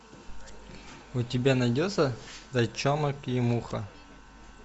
у тебя найдется зайчонок и муха